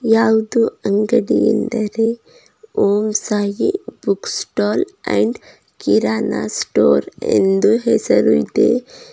ಯಾವದೂ ಅಂಗಡಿ ಎಂದರೆ Om Sai book stall and kirana store ಎಂದು ಹೆಸರು ಇದೆ.